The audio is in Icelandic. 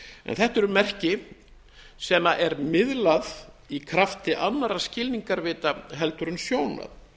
þetta eru merki sem er miðlað í krafti annarra skilningarvita en sjónar